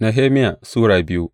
Nehemiya Sura biyu